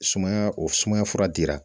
Sumaya o sumaya fura dira